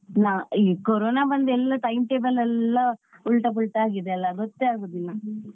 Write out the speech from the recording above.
ನ ಈ ಕೊರೋನ ಬಂದು ಎಲ್ಲಾ time table ಎಲ್ಲಾ ಉಲ್ಟಾ ಪಲ್ಟಾ ಆಗಿದೆ ಅಲ್ಲಾ ಗೊತ್ತೇ ಆಗುದಿಲ್ಲ.